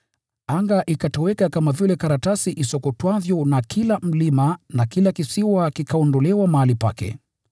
Anga ikatoweka kama vile karatasi isokotwavyo, na kila mlima na kila kisiwa kikaondolewa mahali pake.